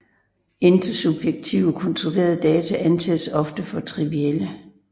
Intersubjektivt kontrollerede data anses ofte for trivielle